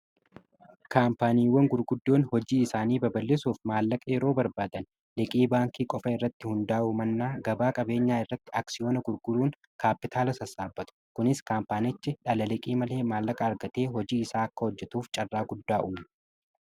kaampaaniiwwan gurguddoon hojii isaanii baballisuuf maallaqa yeroo barbaadan liqii baankii qofa irratti hundaa'u mannaa gabaa qabeenyaa irratti aksiyoona gurguruun kaapitaala sassaabatu kunis kaampaaniichi dhala liqii malee maallaqa argatee hojii isaa akka hojjetuuf carraa guddaa uuma